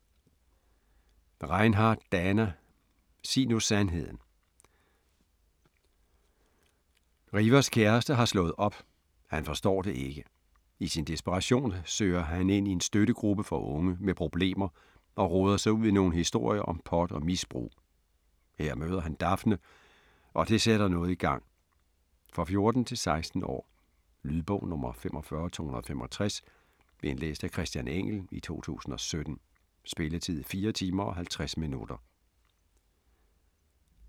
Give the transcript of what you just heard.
Reinhardt, Dana: Sig nu sandheden Rivers kæreste har slået op, han forstår det ikke. I sin desperation søger han ind i en støttegruppe for unge med problemer og roder sig ud i nogle historier om pot og misbrug. Her møder han Daphne, og det sætter noget i gang. For 14-16 år. Lydbog 45265 Indlæst af Christian Engell, 2017. Spilletid: 4 timer, 50 minutter.